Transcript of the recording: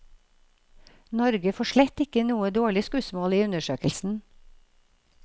Norge får slett ikke noe dårlig skussmål i undersøkelsen.